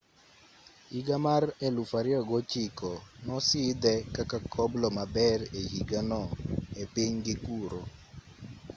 higa mar 2009 nosidhe kaka koblo maber e higano e pinygi kuro